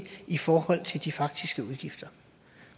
i forhold til de faktiske udgifter